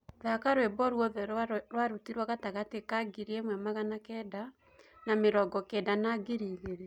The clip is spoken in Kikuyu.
thaka rwĩmbo ruothe rwa rutiirwo gatagati ka ngiriĩmwe magana kenda na mĩrongo kenda na ngiriĩgĩrĩ